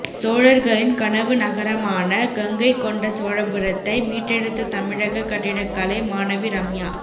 சோழர்களின் கனவு நகரமான கங்கை கொண்ட சோழபுரத்தை மீட்டெடுத்த தமிழக கட்டிடக்கலை மாணவி ரம்யா